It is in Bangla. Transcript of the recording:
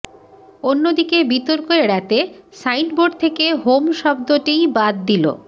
অন্যদিকে বিতর্ক এড়াতে সাইনবোর্ড থেকে হোম শব্দটিই বাদ দিল